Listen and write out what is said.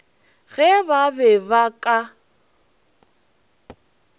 ge ba be ba ka